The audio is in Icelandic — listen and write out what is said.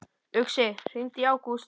Uxi, hringdu í Ágúst.